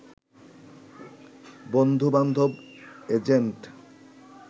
বন্ধু-বান্ধব, এজেন্ট